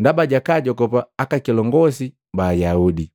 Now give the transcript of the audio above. ndaba jakaajogopa aka kilongosi ba Ayaudi.